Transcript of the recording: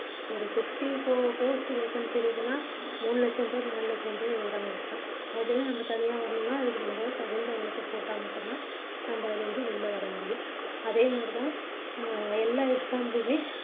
ஒரு sixty-four post vaccancy இருக்குதுன்னா மூணு லட்சம் பேர் நாலு லட்சம் பேர் எழுதுறாங்க exam அதுலேருந்து நம்ம தனியா வரணும்னா அதுக்கு நம்ம தகுந்த உழைப்ப போட்டா மட்டும் தான் நம்ம அதுல இருந்து வெளிய வர முடியும் அதே மாதிரி தான் எல்லா எர் exam க்குமே